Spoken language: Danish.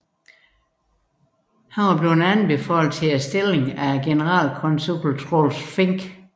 Han var blevet anbefalet til stillingen af generalkonsul Troels Fink